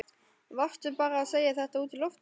Varstu bara að segja þetta út í loftið?